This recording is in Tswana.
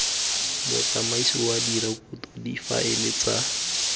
motsamaisi wa direkoto difaele tsa